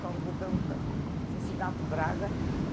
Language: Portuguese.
Nós mudamos para Cincinato, Braga.